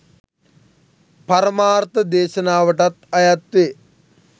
පරමාර්ථ දේශනාවටත් අයත් වේ.